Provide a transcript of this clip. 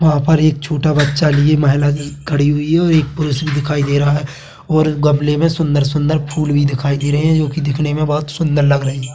वहाँ पर एक छोटा बच्चा लिए महिला खड़ी हुई है और एक पुरुष भी दिखाई दे रहा है और गमले में सुंदर - सुंदर फूल भी दिखाई दे रहे है जो कि दिखने में बहुत सुन्दर लग रही है।